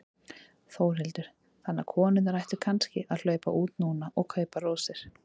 Þórhildur: Þannig að konurnar ættu kannski að hlaupa út núna og kaupa rósir?